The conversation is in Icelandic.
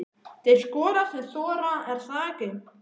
Þeir skora sem þora, er það ekki?